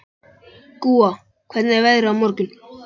Gúa, hvernig er veðrið á morgun?